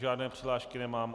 Žádné přihlášky nemám.